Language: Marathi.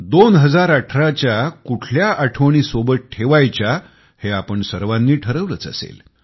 2018च्या कुठल्या आठवणी सोबत ठेवायच्या हे आपणा सर्वांनी ठरवलंच असेल